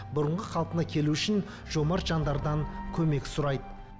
бұрынғы қалпына келу үшін жомарт жандардан көмек сұрайды